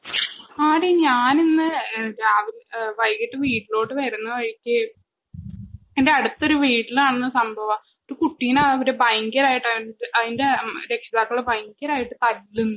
ആടി ഞാൻ ഇന്ന് വൈകിട്ടു വീട്ടിലേക്ക് വരുന്ന വഴിക്ക് എന്റെ അടുത്തൊരു വീട്ടിലാണ് സംഭവം ഒരു കുട്ടിയെ ഭയങ്കരായിട്ട് അതിന്റെ രക്ഷിതാക്കൾ തല്ലുന്നു